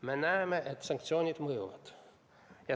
Me näeme, et sanktsioonid mõjuvad.